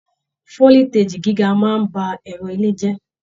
Foliteji gíga máa n bá ẹrọ ilé jẹ.